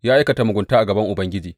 Ya aikata mugunta a gaban Ubangiji.